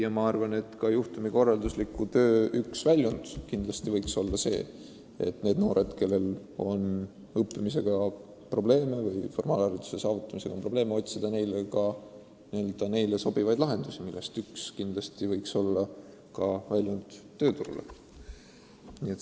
Ja ma arvan, et juhtumikorraldusliku töö üks väljund võiks olla see, et nendele noortele, kellel on õppimisega, formaalhariduse saavutamisega probleeme, otsitakse sobivaid lahendusi, millest üks võiks olla tööle minek.